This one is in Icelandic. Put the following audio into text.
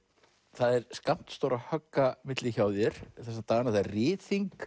það er skammt stórra högga milli hjá þér þessa dagana það er